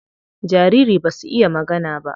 Jariri basu iya magana ba.